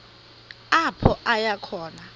apho aya khona